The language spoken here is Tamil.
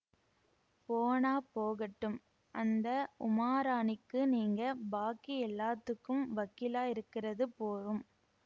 போனாப் போகட்டும் அந்த உமாராணிக்கு நீங்க பாக்கி எல்லாத்துக்கும் வக்கீலா இருக்கறது போரும்